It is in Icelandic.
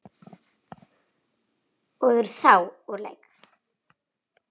og eru þá úr leik.